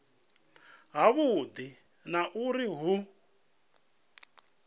ha vhudi na uri hu